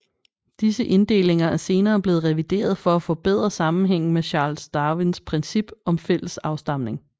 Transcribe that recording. Disse inddelinger er senere blevet revideret for at forbedre sammenhængen med Charles Darwins princip om fælles afstamning